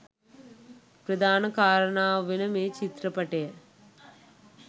ප්‍රධාන කාරණාව වෙන මේ චිත්‍රපටය